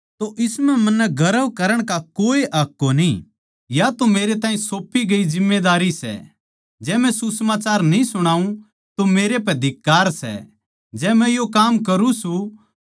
जै मै सुसमाचार सुणाऊँ तो इस म्ह मन्नै गर्व करण का कोए हक कोनी यो तो मेरै ताहीं सौप्पी गई जिम्मेदारी सै जै मै सुसमाचार न्ही सुणाऊँ तो मेरै पै धिक्कार सै